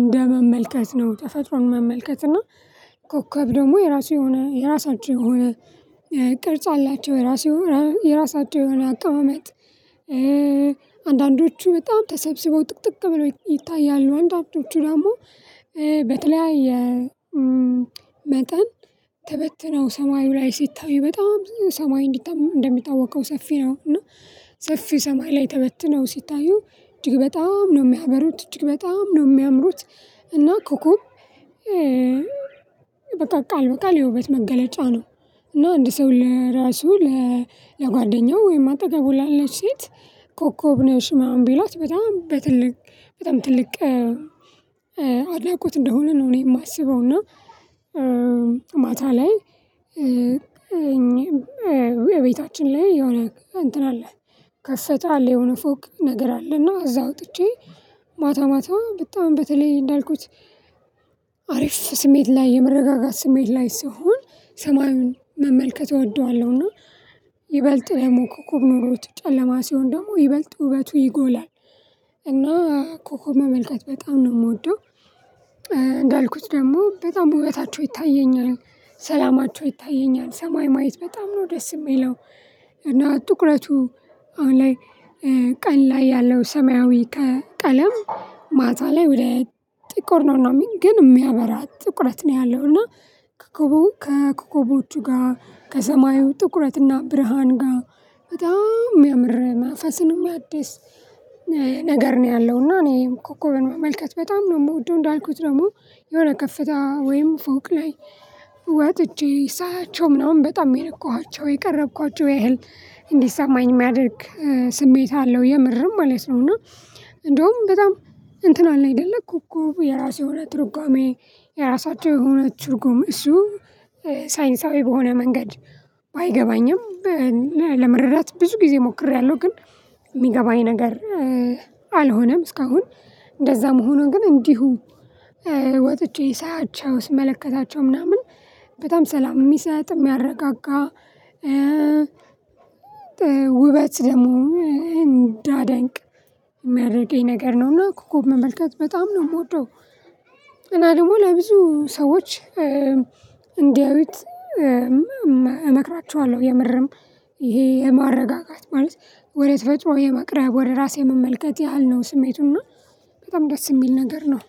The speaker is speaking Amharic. እንደመመልከት ነው። ተፈጥሮን መመልከት እና ኮከብ ደግሞ የራሱ የሆነ የራሳቸው የሆነ ቅርጽ አላቸው የራሱ የሆነ የራሳቸው የሆነ አቀማመጥ። አንዳንዶቹ በጣም ተሰብስበው ጥቅጥቅ ብለው ይታያሉ አንዳንዶቹ ደግሞ በተለያየ መጠን ተበትነው ሰማዩ ላይ ሲታዩ በጣም ሰማይ እነዲታ እንደሚታወቀው ሰፊ ነው እና ሰፊ ሰማይ ላይ ተበትነው ሲታዩ እጅግ በጣም ነው የሚያበሩት እጅግ በጣም ነው የሚያምሩት። እና ኮኮብ በቃ ቃል በቃ የውበት መገለጫ ነው እና አንድ ሰው ለራሱ ለጓደኛው ወይም አጠገቡ ላለች ሴት ኮከብ ነሽ ምናምን ቢላት በጣም በትልቅ በጣም ትልቅ አድናቆት እንደሆነ ነው። እኔ የማስበው እና ማታ ላይ እኔ በቤታችን ላይ የሆነ እንትን አለ ከፈተ አለ የሆነ ፎቅ ነገር አለ እና እዛ ወጥቼ ማታ ማታ በጣም በተለይ እንዳልኩት አሪፍ ስሜት ላይ የመረጋጋት ስሜት ላይ ስሆን ሰማዩን መመልከት እወደዋለሁና። ይበልጥ ደግሞ ኮኮብ ኖሮት ጨለማ ሲሆን ደግሞ ይበልጥ ውበቱ ይጎላል እና ኮኮብ መመልከት በጣም ነው የምወደው። እንዳልኩት ደግሞ በጣም ውበታቸው ይታየኛል ሰላማቸው ይታየኛል ሰማይ ማየት በጣም ነው ደስ የሚለው። እና ጥቁረቱ አሁን ላይ ቀን ላይ ያለው ሰማያዊ ከቀለም ማታ ላይ ወደ ጥቁር ነው እና የሚል ግን የሚያበራ ጥቁረት ነው ያለው እና ከኮቦ ከኮኮቦቹ ጋር ከሰማዩ ጥቁረትና ብርሃን ጋር በጣም የሚያምር መንፈስን የሚያድስ ነገር ነው። ያለው እና እኔ ኮኮብን መመልከት በጣም ነው የምወደው። እንዳልኩት ደግሞ የሆነ ከፍታ ወይም ፎቅ ላይ ወጥቼ ሳያቸው ምናምን በጣም የነኳኋቸው የቀረብኳቸው ያህል እንዲሰማኝ የሚያደርግ ስሜት አለው የምርም አለው እና እንደውም በጣም እንትን አለ አይደለ ኮኮብ የራሱ የሆነ ትርጉሜ የራሳቸው የሆነ ትርጉም እሱ ሳይንሳዊ በሆነ መንገድ ባይገባኝም ለመረዳት ብዙ ጊዜ ሞክሬያለሁ። ግን የሚገባኝ ነገር አልሆነም እስካሁን እንደዛ መሆኑን ግን እንዲሁ ወጥቼ ሳያቸው ስመለከታቸው ምናምን በጣም ሰላም የሚሰጥ የሚያረጋጋ ውበት ደግሞ እንዳደንቅ የሚያደርገኝ ነገር ነው። እና ኮኮብ መመልከት በጣም ነው የምወደው። እና ደግሞ ለብዙ ሰዎች እንዲያዩት እመክራቸዋለሁ የምርም ይሄ የማረጋጋት ማለት ወደተፈጥሮ የመቅረብ ወደ ራስ የመመልከት ያህል ነው ስሜቱና በጣም ደስ የሚል ነገር ነው